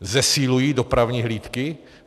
Zesilují dopravní hlídky?